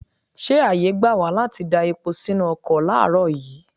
Ṣé ààyè gbà wá láti da epo sínú ọkọ láàárọ̀ yìí?